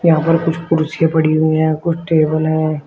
यहां पर कुछ कुर्सियां पड़ी हुई हैं कुछ टेबल हैं।